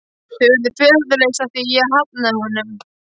Þau urðu föðurlaus af því ég hafnaði honum.